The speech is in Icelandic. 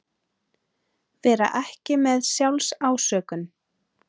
Vera ekki með SJÁLFSÁSÖKUN